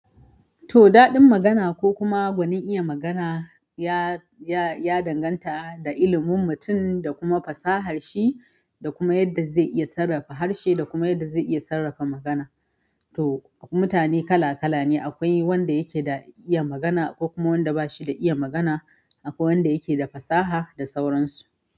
To, daɗin magana ko kuma gwanin iya magana ya, ya, ya danganta da ilimin mutum da kuma fasahar shi da kuma yadda zai iya sarrafa harshe da kuma yadda zai iya sarrafa magana. To, akwai mutane kala kala ne, akwai wanda yake da iya magana akwai kuma wanda bashi da iya magana, akwai wanda yake da fasaha da sauransu.